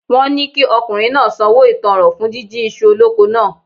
Wọ́n ni kí ọkùnrin náà sanwó ìtánràn fún jíjí iṣu oloko náà.